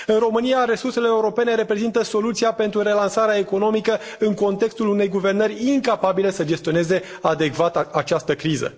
În România resursele europene reprezintă soluția pentru relansarea economică, în contextul unei guvernări incapabile să gestioneze adecvat această criză.